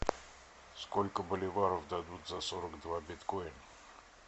сколько боливаров дадут за сорок два биткоина